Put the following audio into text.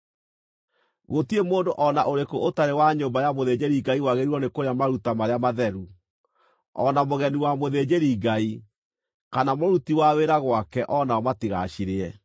“ ‘Gũtirĩ mũndũ o na ũrĩkũ ũtarĩ wa nyũmba ya mũthĩnjĩri-Ngai wagĩrĩirwo nĩ kũrĩa maruta marĩa matheru, o na mũgeni wa mũthĩnjĩri-Ngai, kana mũruti wa wĩra gwake o nao matigacirĩe.